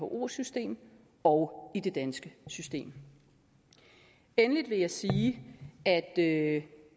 whos system og i det danske system endelig vil jeg sige at det